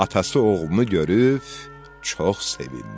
Atası oğlunu görüb çox sevindi.